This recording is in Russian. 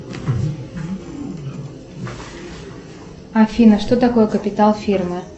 афина что такое капитал фирмы